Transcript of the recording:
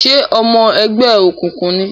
Ṣe ọmọ ẹgbẹ́ okunkun ní?